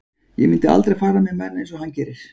Ég myndi aldrei fara með menn eins og hann gerir.